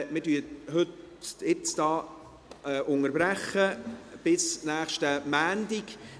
Wir unterbrechen die Beratungen hier bis kommenden Montag.